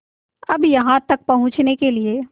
अब यहाँ तक पहुँचने के लिए